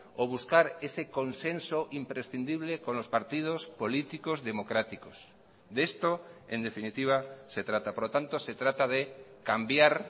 o buscar ese consenso imprescindible con los partidos políticos democráticos de esto en definitiva se trata por lo tanto se trata de cambiar